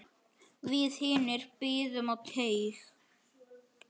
Við hinir biðum á teig.